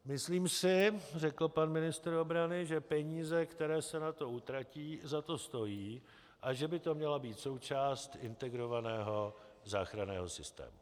Myslím si, řekl pan ministr obrany, že peníze, které se na to utratí, za to stojí, a že by to měla být součást integrovaného záchranného systému.